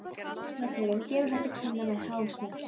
Heyrnartólið gefur það til kynna með háum smelli.